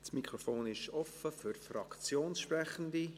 Das Mikrofon ist offen für Fraktionssprechende.